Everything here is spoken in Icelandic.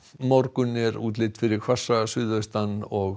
morgun er útlit fyrir hvassa suðaustanátt og